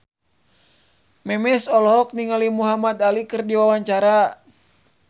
Memes olohok ningali Muhamad Ali keur diwawancara